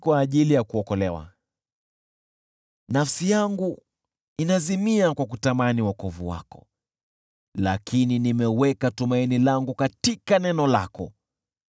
Nafsi yangu inazimia kwa kutamani wokovu wako, lakini nimeweka tumaini langu katika neno lako.